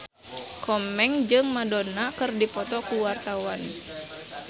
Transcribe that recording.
Komeng jeung Madonna keur dipoto ku wartawan